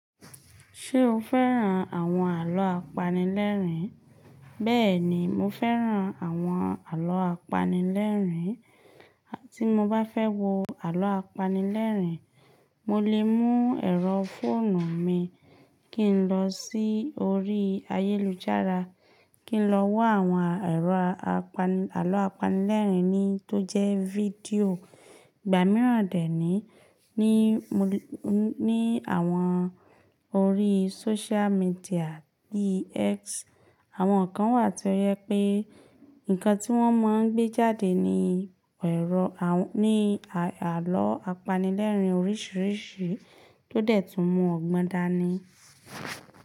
Ṣé o fẹ́ràn àwọn àlọ́ apanilẹ́rìn? Bẹ́ẹ̀ni, mo fẹ́ràn àwọn àlọ́ apanilẹ́rìn. Tí mo bá fẹ́ wo àlọ́ apanilẹ́rìn, mo lè mú ẹ̀rọ fóònù mi kí n lọ sí orí ayélujára, kí n lọ wa àwọn àlọ́ apanilẹ́rìn ní tó jẹ́ fídíò. Ìgbà mìíràn dẹ́ ní, ní àwọn orí social media bii X. Àwọn kan wà tí ó jẹ pé nǹkan tí wọ́n máa ń gbé jáde ni àlọ́ apanilẹ́rìn oríṣiríṣi tó dẹ̀ tún mu ọgbọ́n dání.